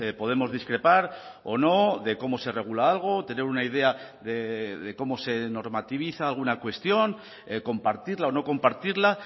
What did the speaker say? podemos discrepar o no de cómo se regula algo tener una idea de cómo se normativiza alguna cuestión compartirla o no compartirla